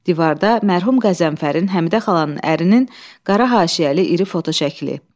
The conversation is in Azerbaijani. Divarda mərhum Qəzənfərin, Həmidə xalanın ərinin qara haşiyəli iri foto şəkli.